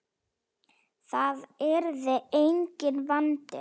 Það yrði enginn vandi.